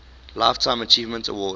lifetime achievement award